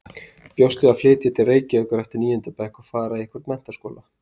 Bjóst við að flytja til Reykjavíkur eftir níunda bekk og fara í einhvern menntaskóla.